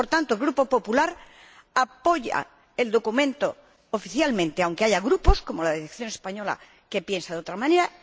Por tanto, el Grupo Popular apoya el documento oficialmente, aunque haya grupos, como la delegación española, que piensa de otra manera.